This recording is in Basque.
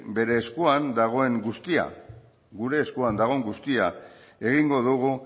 gure eskuan dagoen guztia egingo dugu